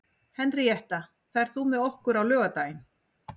Henríetta, ferð þú með okkur á laugardaginn?